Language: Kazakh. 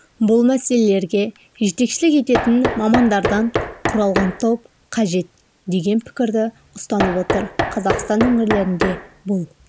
бұл мәселелерге жетекшілік ететін мамандардан құралған топ қажет деген пікірді ұстанып отыр қазақстан өңірлерінде бұл